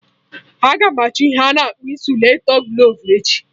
Aga m achọ ihe a na akpọ ịnsụlatiglovu echi